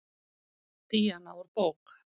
Díana úr bók.